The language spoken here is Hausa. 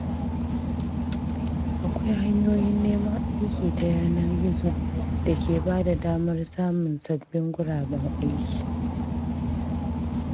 Akwai hanyoyin neman aiki ta yanar gizo da ke bada damar samun sabbin guraben aiki.